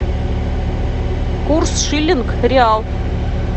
курс шиллинг реал